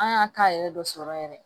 An y'a ka yɛrɛ dɔ sɔrɔ yɛrɛ